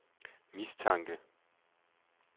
mistanke